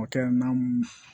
O tɛ na mun